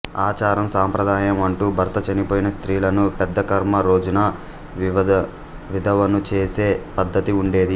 ఆచారం సాంప్రదాయం అంటూ భర్త చనిపోయిన స్త్రీలను పెద్ద కర్మ రోజున విధవను చేసే పద్ధతి ఉండేది